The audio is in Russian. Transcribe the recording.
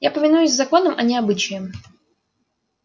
я повинуюсь законам а не обычаям